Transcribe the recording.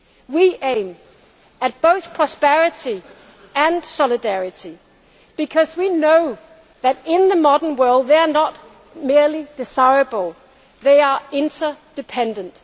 We aim at both prosperity and solidarity because we know that, in the modern world, they are not merely desirable they are interdependent.